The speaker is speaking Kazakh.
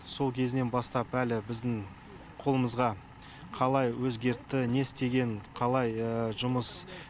сол кезінен бастап әлі біздің қолымызға қалай өзгертті не істеген қалай жұмыс